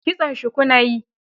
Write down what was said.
Kitson shuku na yi